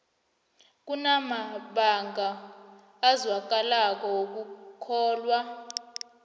kunamabanga azwakalako wokukholwa